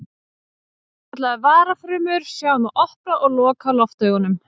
Svokallaðar varafrumur sjá um að opna og loka loftaugunum.